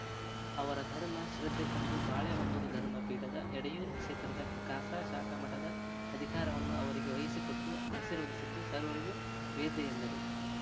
ಅವರ ಧರ್ಮ ಶ್ರದ್ಧೆ ಕಂಡು ಬಾಳೆಹೊನ್ನೂರು ಧರ್ಮ ಪೀಠದ ಎಡೆಯೂರು ಕ್ಷೇತ್ರದ ಖಾಸಾ ಶಾಖಾ ಮಠದ ಅಧಿಕಾರವನ್ನು ಅವರಿಗೆ ವಹಿಸಿ ಕೊಟ್ಟು ಆಶೀರ್ವದಿಸಿದ್ದು ಸರ್ವರಿಗೂ ವೇದ್ಯ ಎಂದರು